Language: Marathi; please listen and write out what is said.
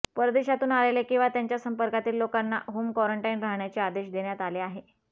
परदेशातून आलेले किंवा त्यांच्या संपर्कातील लोकांना होम कॉरंटाईन राहण्याचे आदेश देण्यात आले आहे